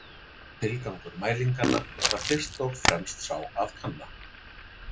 Tilgangur mælinganna var fyrst og fremst sá að kanna.